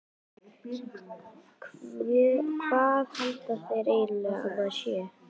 Hvað halda þeir eiginlega að maður sé?